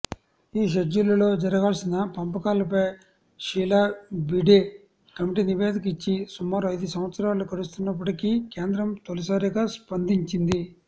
ఈ షెడ్యూళ్లలో జరగాల్సిన పంపకాలపై షీలాభిడే కమిటీ నివేదిక ఇచ్చి సుమారు ఐదుసంవత్సరాలు గడుస్తున్నప్పటికీ కేంద్రం తొలిసారిగా స్పందించింది